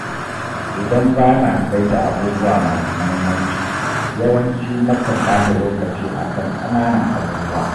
Idan ba na saita abubuwa masu muhimmanci, yawanci na kan ɓata lokaci akan ƙananan abubuwa.